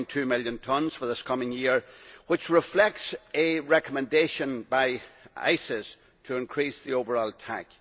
1.2 million tonnes for this coming year. This reflects a recommendation by ICES to increase the overall TAC.